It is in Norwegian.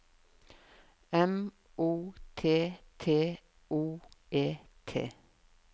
M O T T O E T